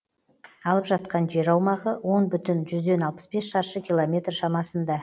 алып жатқан жер аумағы он бүтін жүзден алпыс бес шаршы километр шамасында